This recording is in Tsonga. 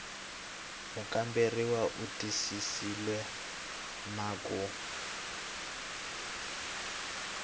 mukamberiwa u twisisile na ku